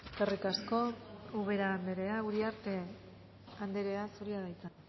eskerrik asko ubera anderea uriarte anderea zurea da hitza